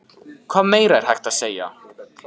Hvað meira er hægt að segja?